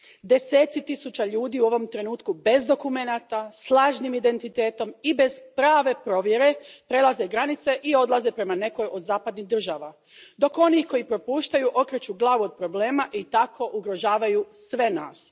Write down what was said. Deseci tisuća ljudi u ovom trenutku bez dokumenata, s lažnim identitetom i bez prave provjere prelaze granice i odlaze prema nekoj od zapadnih država, dok oni koji ih propuštaju okreću glavu od problema i tako ugrožavaju sve nas.